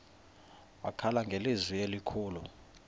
wakhala ngelizwi elikhulu